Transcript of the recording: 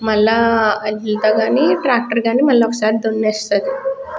మల్ల యెడ్లుతో గని ట్రాక్టర్ గని మల్ల ఒకసారి దునేస్తది.